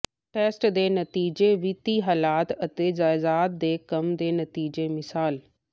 test ਦੇ ਨਤੀਜੇ ਵਿੱਤੀ ਹਾਲਤ ਅਤੇ ਜਾਇਦਾਦ ਦੇ ਕੰਮ ਦੇ ਨਤੀਜੇ ਮਿਸਾਲ